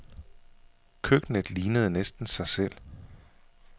Køkkenet lignede næsten sig selv.